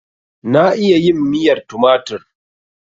Na iya yin miyar tumatur.